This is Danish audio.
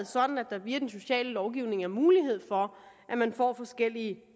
sådan at der via den sociale lovgivning er mulighed for at man får forskellige